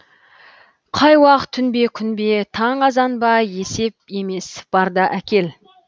қай уақ түн бе күн бе таң азан ба есеп емес бар да әкел